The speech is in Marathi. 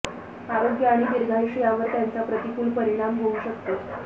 आरोग्य आणि दीर्घायुष्य यांवर त्याचा प्रतिकूल परिणाम होऊ शकतो